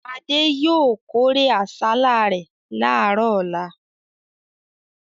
Adé yóò kórè àsálà rẹ̀ láàárọ̀ ọlá.